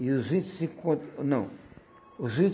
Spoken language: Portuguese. E os vinte e cinco contos... Não. Os